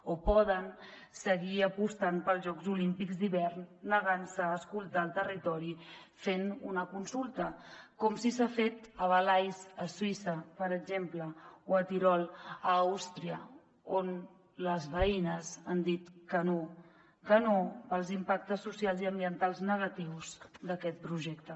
o poden seguir apostant pels jocs olímpics d’hivern i negar se a escoltar el territori fent una consulta com sí s’ha fet a valais a suïssa per exemple o al tirol a àustria on les veïnes han dit que no que no pels impactes socials i ambientals negatius d’aquest projecte